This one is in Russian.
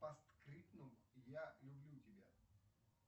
постскриптум я люблю тебя